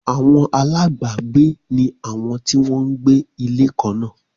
Àwọn alábágbé ní àwọn tí wọ́n ń gbé ilé kan náà